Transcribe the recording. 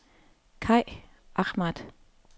Kaj Ahmad